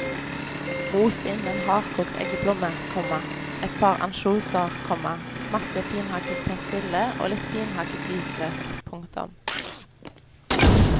Mos inn en hardkokt eggeplomme, komma et par ansjoser, komma masse finhakket persille og litt finhakket hvitløk. punktum